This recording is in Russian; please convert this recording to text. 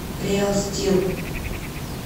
реал стил